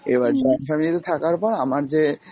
এবার join family তে থাকার পর আমার যে